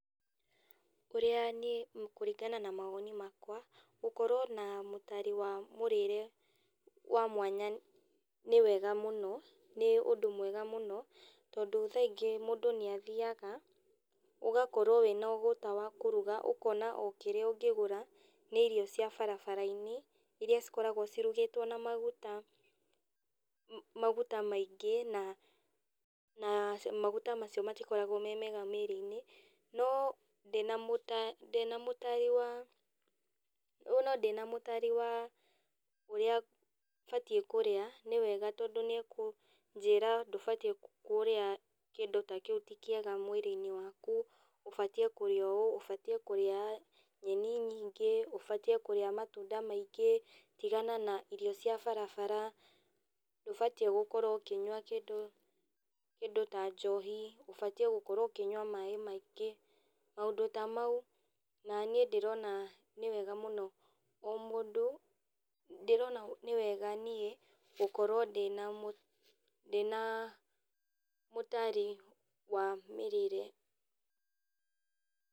Ũrĩa niĩ kũringana na mawoni makwa, gũkorwo na mũtari wa mũrĩre wa mwanya nĩwega mũno, nĩ ũndũ mwega mũno, tondũ thaingĩ mũndũ nĩathiaga, ũgakorwo wĩna ũgũta wa kũruga, ũkona o kĩrĩa ũngĩgũra, nĩ irio cia barabarainĩ, iria cikoragwo cirugĩtwo na maguta, maguta maingĩ, na na maguta macio matikoragwo me mega mĩrĩinĩ, no ndina mũtari ndĩna mũtari wa no ndĩna mũtari wa ũrĩa batiĩ kũrĩa, nĩwega tondũ nĩakũnjĩra ndũbatiĩ kũrĩa kĩndũ ta kĩũ ti kĩega mwĩrĩinĩ waku, ũbatiĩ kũrĩa ũũ, ũbatiĩ kũrĩa nyeni nyingĩ, ũbatiĩ kũrĩa matunda maingĩ, tigana na irio cia barabara, ndũbatiĩ gũkorwo ũkĩnyua kĩndũ kĩndũ ta njohi, ũbatiĩ gũkorwo ũkĩnyua maĩ maingĩ, maũndũ ta mau, na niĩ ndĩrona nĩwega mũno o mũndũ, ndĩrona nĩwega niĩ, gũkorwo ndĩna mũ ndĩna mũtari wa mĩrĩre.